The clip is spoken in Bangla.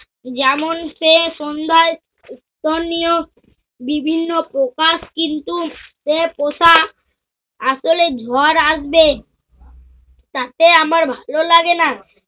যেমন সে সন্ধ্যায় উপনিয়োগ বিভিন্ন প্রকাশ কিন্তু সে পোষা আসলে ঝড় আসবে তাতে আমার ভালো লাগেনা।